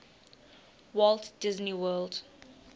walt disney world